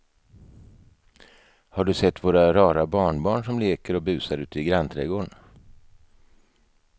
Har du sett våra rara barnbarn som leker och busar ute i grannträdgården!